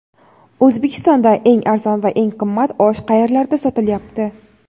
O‘zbekistonda eng arzon va eng qimmat osh qayerlarda sotilyapti?.